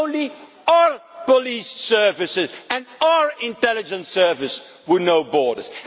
It is our police services and our intelligence services who know borders.